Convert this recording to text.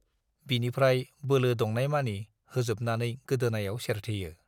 बिनिफ्राय बोलो दंनायमानि होजोबनानै गोदोनायाव सेरथेयो।